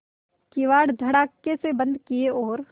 किवाड़ धड़ाकेसे बंद किये और